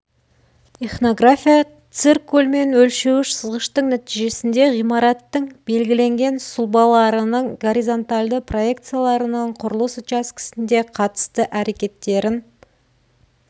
ихнография циркуль мен өлшеуіш сызғыштың нәтижесінде ғимараттың белгіленген сұлбаларының горизонтальды проекцияларының құрылыс учаскесінде қатысты әрекеттерін